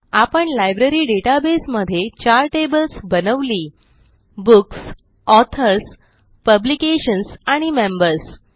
आपण library database मध्ये चार टेबल्स बनवली160 बुक्स ऑथर्स पब्लिकेशन्स आणि मेंबर्स